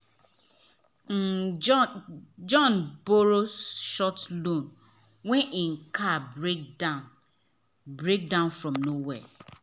um john john borrow um short loan when him car break down break down from nowhere.